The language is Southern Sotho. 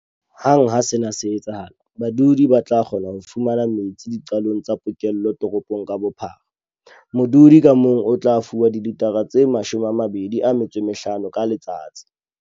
Hang ha sena se etsahala, badudi ba tla kgona ho fumana metsi diqalong tsa pokello toropong ka bophara. Modudi ka mong o tla fuwa dilithara tse 25 ka letsatsi.